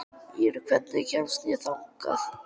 Ýrr, hvernig kemst ég þangað?